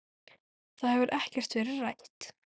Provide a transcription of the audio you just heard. Það hefur ekkert verið rætt.